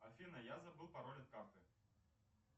афина я забыл пароль от карты